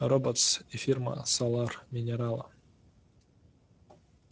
роботс и фирма солар минерала